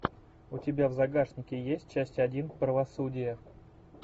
у тебя в загашнике есть часть один правосудие